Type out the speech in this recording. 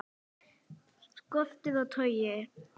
Skortur á togi